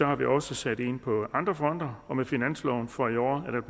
har vi også sat ind på andre fronter med finansloven for i år er der